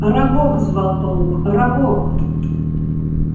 арагог звал паук арагог